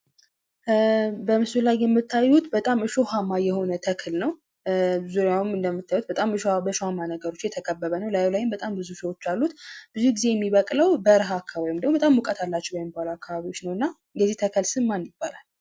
በምስሉ ላይ የምታዩት በጣም እሾሃማ የሆነ ተክል ነው። ዙሪያውም እንደምታዩት በጣም በእሾሃማ ነገሮች የተከበበ ነው ።ከላዩ ላይም በጣም ብዙ እሾሆች አሉት። ብዙ ጊዜ የሚበቅለው በረሃ አካባቢ ወይም ደግሞ በጣም ሙቀት ያላቸው አካባቢዎች ነው እና የዚህ ተክል ስም ማን ይባላል?